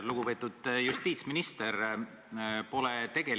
Lugupeetud justiitsminister!